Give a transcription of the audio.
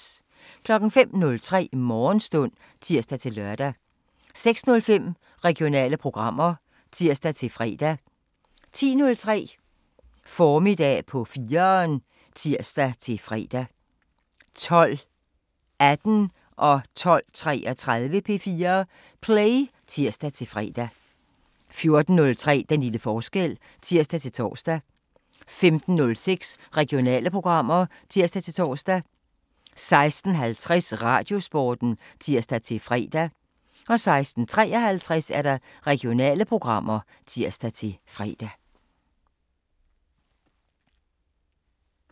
05:03: Morgenstund (tir-lør) 06:05: Regionale programmer (tir-fre) 10:03: Formiddag på 4'eren (tir-fre) 12:18: P4 Play (tir-fre) 12:33: P4 Play (tir-fre) 14:03: Den lille forskel (tir-tor) 15:06: Regionale programmer (tir-tor) 16:50: Radiosporten (tir-fre) 16:53: Regionale programmer (tir-fre)